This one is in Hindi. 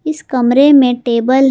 इस कमरे में टेबल है।